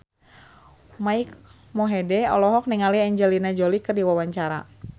Mike Mohede olohok ningali Angelina Jolie keur diwawancara